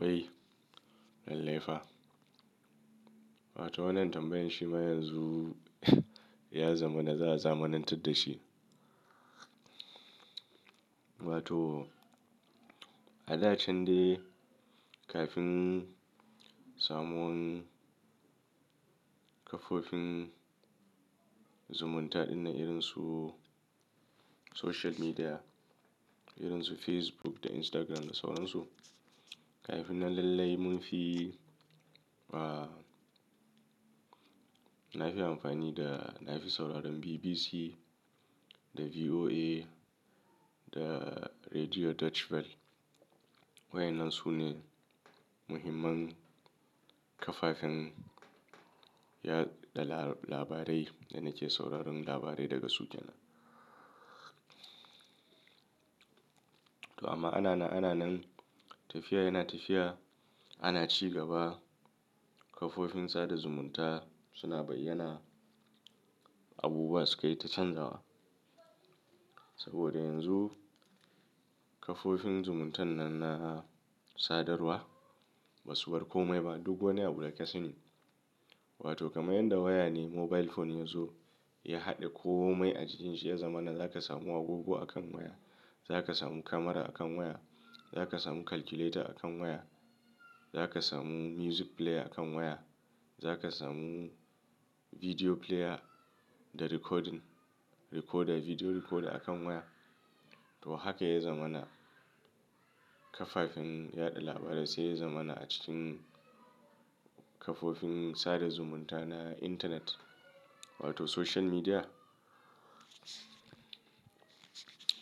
Wai lalle fa, wato wannan tambayan shi ma yanzu ya zama na za, za mana ta dashi. Wato a da can dai kafin samuwan kafofin zumunta dinnan irin su social media, irin su Facebook da Instagram da sauran su. Kafin nan lallai mun fi, a, na fi amfani da, na fi sauraron BBC da VOA da Radio Deutsche Welle. Wayannan su ne muhimman kafafen yaɗa labarai da nake sauraron labarai daga su ke nan. To amma ana nan, ana nan tafiya yana tafiya. Ana ci gaba, kafofin sada zumunta suna bayyana abubuwa sukayi ta canzawa. Saboda yanzu kafofin zumuntar nan na sadarwa ba su barko mai ba. Duk wani abu da ka sani, wato kaman yadda waya ne mobile phone yazo ya haɗe komai a jikin shi ya zama nan. Za ka samu wagogo a kan waya, za ka samu kamara a kan waya, za ka samu calculator a kan waya, za ka samu music player a kan waya, za ka samu video player da recording, recorder, video recorder a kan waya. To haka ya zamana kafafen yaɗa labarai sai ya zamana a cikin kafofin sada zumunta na internet wato social media.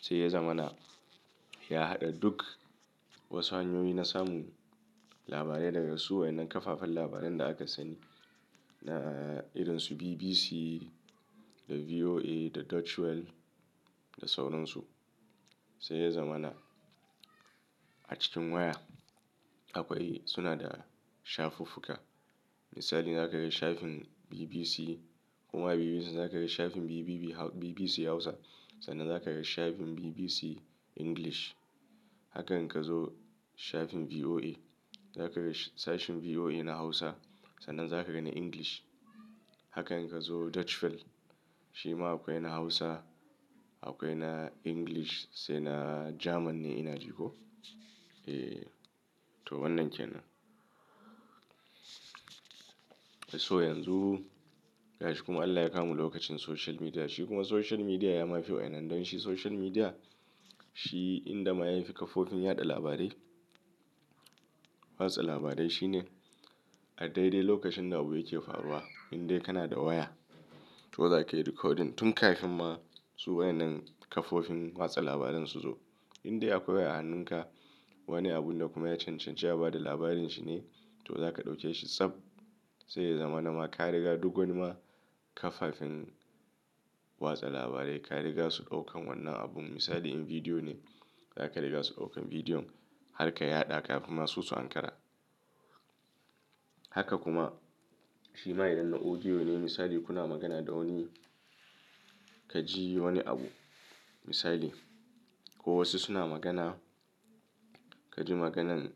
Sai ya zamana ya haɗa duk wasu hanyoyi na samun labarai daga su. Wayannan kafafen labaran da aka sani na irin su BBC da VOA da Deutsche Welle da sauran su. Sai ya zama na a cikin waya akwai sunada shafuffuka. Misali za ka ga shafin BBC kuma a BBC za ka ga shafin BBC Hausa. Sannan za ka ga shafin BBC English. Haka in ka zo shafin VOA, za ka ga sashin VOA na Hausa. Sannan za ka gani English. Haka in ka zo Deutsche Welle shi ma akwai na Hausa, akwai na English sai na German ne ina ji ko? E, to wannan ke nan. So yanzu gashi kuma Allah ya kawo mu lokacin social media. Shi kuma social media ya ma fi wayannan don shi social media shi inda ma ya fi kafofin yaɗa labarai. Watsa labarai shi ne a daidai lokacin da abu yake faruwa. In dai kana da waya to za ka yi recording tun kafin ma su wayannan kafofin watsa labaran su zo. In dai akwai waya a hannunka, wani abun da kuma ya cancanci a bada labarin shi ne to za ka ɗauke shi tsab sai ya zamana ma. Ka riga duk wani ma kafafen watsa labarai ka riga su ɗaukan wannan abun. Misali in bidiyo ne za ka riga su ɗaukan bidiyon har ka yaɗa kafin ma su su ankara. Haka kuma shi ma idan na audio ne misali kuna magana da wani ka ji wani abu. Misali ko wasu suna magana ka ji maganan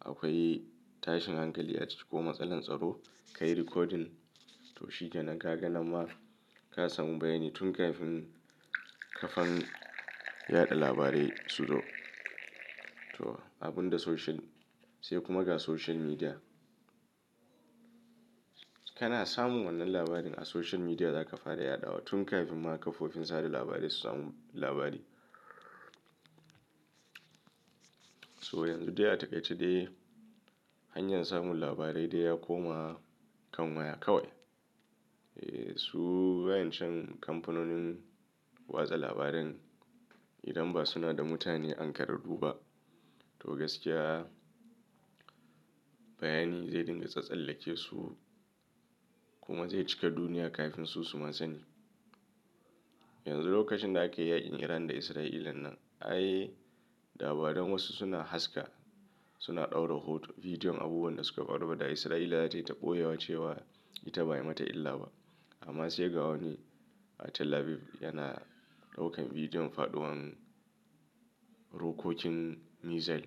akwai tashin hankali a ciki ko matsalan tsaro. Ka yi recording to shi ke nan. Kaga nan ma ka samu bayani tun kafin kafan yaɗa labarai su zo. To abun da social sai kuma ga social media. Kana samun wannan labarin a social media za ka fara yaɗawa tun kafin ma kafofin sada labarai su samu labari. So yanzu dai a takaice dai hanyan samun labarai dai ya koma kan waya kawai. E, su wayancan kamfanonin watsa labaran idan ba suna da mutane ankararru ba to gaskiya bayani zai dinga tsatsallake su kuma zai cika duniya kafin su su ma sani. Yanzu lokacin da ake yaƙin Iran da Israel nan ai dabarun wasu suna haska suna ɗaura hoto, bidiyon abubuwan da suka faru bada. Isra'ila zatai ta ɓoye wa cewa ita ba'ai mata illa ba. Amma sai ga wani a Tel Aviv yana ɗaukan bidiyon faɗuwan rokokin missile.